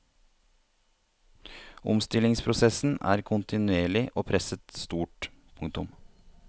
Omstillingsprosessen er kontinuerlig og presset stort. punktum